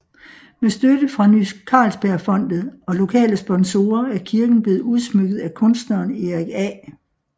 Med støtte fra Ny Carlsbergfondet og lokale sponsorer er kirken blevet udsmykket af kunstneren Erik A